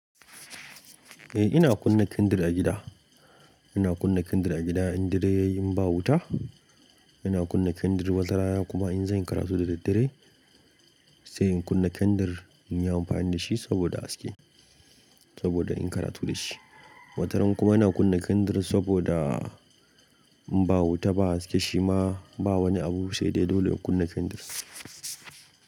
Eh ina kunna kendir a gida. Ina kunna kendir a gida in dare yayi in ba wuta, ina kunna kendir watarana kuma in zan yi karatu da daddare sai in kunna kendir in yi amfani da shi saboda haske, saboda inyi karatu da shi. Wataran kuma ina kunna kendir saboda in ba wuta ba haske shima ba wani abu sai dai dole ku kunna kendir.